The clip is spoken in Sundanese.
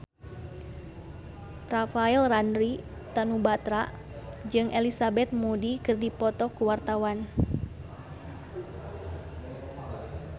Rafael Landry Tanubrata jeung Elizabeth Moody keur dipoto ku wartawan